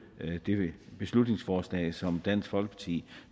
dette beslutningsforslag som dansk folkeparti